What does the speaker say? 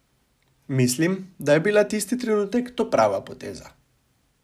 Mislim, da je bila tisti trenutek to prava poteza.